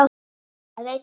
Það veit hann.